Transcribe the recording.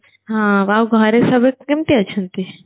ହଁ ଆଉ ଘରେ ସବୁ କେମତି ଅଛନ୍ତି